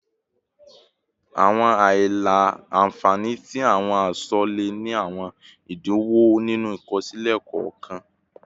Awọn aila-nfani ti awọn aṣọ le ni awọn idiwọn ninu ikosile kọọkan